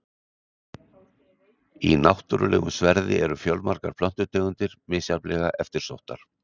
Í náttúrulegum sverði eru fjölmargar plöntutegundir, misjafnlega eftirsóttar.